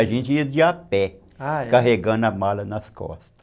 A gente ia de a pé, ah, é, carregando a mala nas costas.